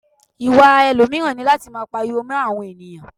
Ìwà ẹlòmíràn ni láti máa pariwo mó àwọn ènìyàn.